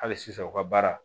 Hali sisan u ka baara